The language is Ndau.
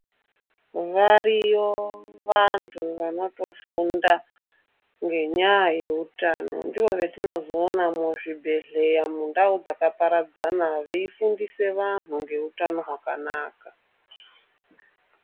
Variyo vantu vanotofunda ngenyaya yeutano ndivo vatinozoona muzvibhehleya mundau dzakaparadzana veifundisa vantu ngeutano hwakanaka.